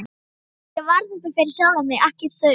Ég var að þessu fyrir sjálfan mig, ekki þau.